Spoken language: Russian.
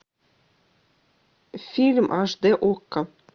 фильм аш дэ окко